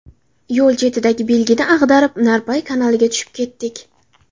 Yo‘l chetidagi belgini ag‘darib, Narpay kanaliga tushib ketdik.